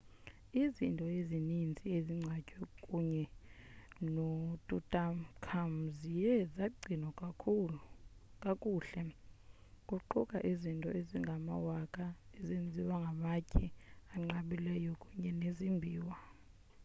izinto ezininzi ezingcwatywe kunye notutankhamun ziye zagcinwa kakuhle kuquka izinto ezingamawaka ezenziwe ngamatye anqabileyo kunye nezimbiwa